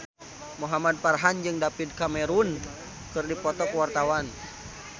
Muhamad Farhan jeung David Cameron keur dipoto ku wartawan